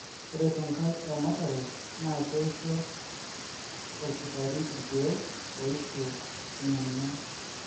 ore tenkae ramatare, naa keisho orkirati irkeek oishu ina ngingian.